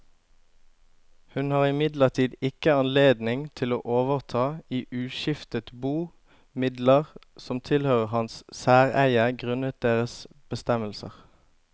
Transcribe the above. Hun har imidlertid ikke anledning til å overta i uskiftet bo midler som tilhørte hans særeie grunnet deres bestemmelser.